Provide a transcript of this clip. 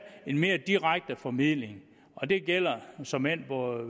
en mere direkte formidling og det gælder såmænd både